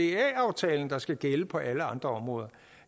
aftalen der skal gælde på alle andre områder